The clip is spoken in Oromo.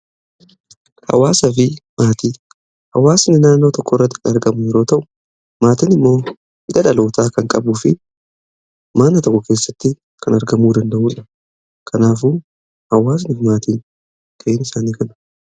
Hawaasa fi maatii, hawaasni naannoo tokko irratti argamu yeroo ta'u maatiin immoo dhalootaa kan qabuu fi maana tokko keessatti kan argamuu danda'uudha. kanaafuu, hawaasnifi maatii ta'uun isaanii kana.